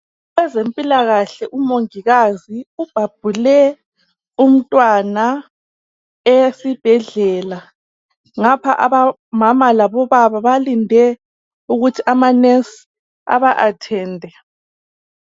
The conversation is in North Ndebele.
Ezempilakahle umongikazi ubhabhule umntwana esibhedlela ngapha omama labobaba balinde ukuthi ama"nurse" aba athende.